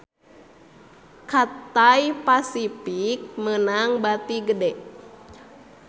Cathay Pacific meunang bati gede